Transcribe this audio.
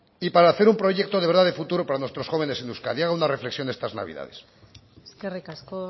y para hacer un proyecto de verdad de futuro para nuestros jóvenes en euskadi haga una reflexión estas navidades eskerrik asko